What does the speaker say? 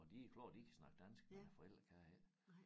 Og det klart de kan snakke dansk men æ forældre kan ikke